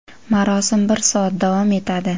Marosim bir soat davom etadi.